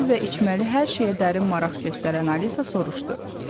Yeməli və içməli hər şeyə dərin maraq göstərən Alisa soruşdu.